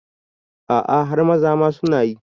A'a har maza ma sunayi